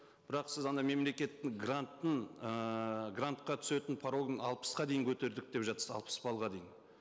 бірақ сіз ана мемлекеттік гранттың ыыы грантқа түсетін порогын алпысқа дейін көтердік деп жатырсыз алпыс баллға дейін